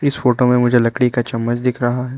इस फोटो में मुझे एक लकड़ी का चम्मच दिख रहा है।